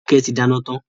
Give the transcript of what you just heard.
Toke tí dáná tán.